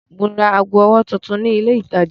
Mo ra ago ọwọ́ tuntun ni ilé-ìtajà.